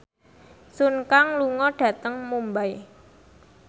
Sun Kang lunga dhateng Mumbai